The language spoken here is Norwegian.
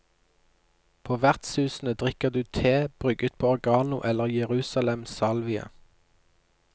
På vertshusene drikker du te brygget på oregano eller jerusalemsalvie.